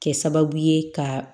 Kɛ sababu ye ka